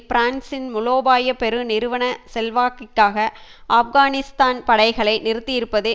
பிரான்சின் மூலோபாய பெரு நிறுவன செல்வாக்கிற்காக ஆப்கானிஸ்தான் படைகளை நிறுத்தியிருப்பது